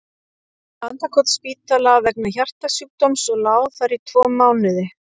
Landakotsspítala vegna hjartasjúkdóms og lá þar tvo mánuði.